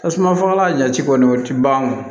Tasuma fagalan jati kɔni o tɛ ban o